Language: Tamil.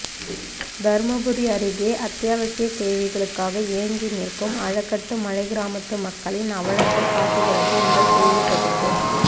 தருமபுரி அருகே அத்தியாவசிய தேவைகளுக்காக ஏங்கி நிற்கும் அலகட்டு மலைக்கிராமத்து மக்களின் அவலத்தை காட்டுகிறது இந்த செய்தி தொகுப்பு